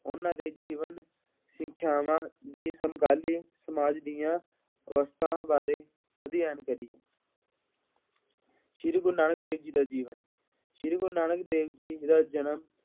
ਉਹਨਾ ਦੇ ਜੀਵਨ, ਸਿੱਖਿਆਵਾਂ ਦੀ ਸਮਕਾਲੀ ਸਮਾਜ ਦੀਆਂ ਅਵਸਥਾ ਬਾਰੇ ਅਧਿਐਨ ਕਰੀਏ। ਸ਼੍ਰੀ ਗੁਰੂ ਨਾਨਕ ਦੇਵ ਜੀ ਦਾ ਜੀਵਨ, ਸ਼੍ਰੀ ਗੁਰੂ ਨਾਨਕ ਦੇਵ ਜੀ ਦਾ ਜਨਮ